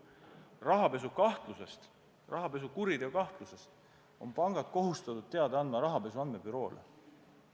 Rahapesukahtlusest, rahapesukuriteo kahtlusest on pangad kohustatud teada andma rahapesu andmebüroole.